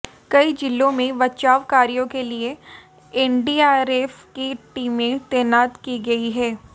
कई जिलों में बचाव कार्यो के लिए एनडीआरएफ की टीमें तैनात की गई हैं